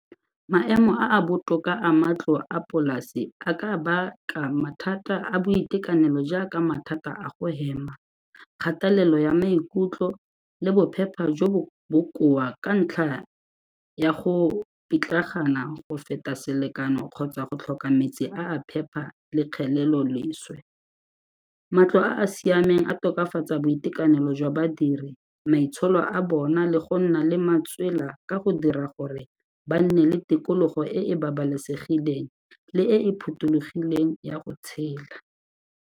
Maemo a a botoka a matlo a polase a ka baka mathata a boitekanelo jaaka mathata a go hema, kgatelelo ya maikutlo le bophepha jo bo bokoa ka ntlha ya go pitlagana go feta selekano kgotsa go tlhoka metsi a a phepa le kgeleloleswe. Matlo a a siameng a tokafatsa boitekanelo jwa badiri, maitsholo a bona le go nna le matswela ka go dira gore ba nne le tikologo e e babalesegileng le e e phuthulogileng ya go tshela.